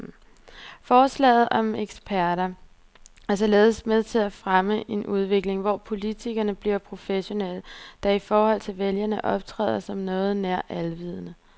Forslaget om eksperter er således med til at fremme en udvikling, hvor politikerne bliver professionelle, der i forhold til vælgerne optræder som noget nær alvidende.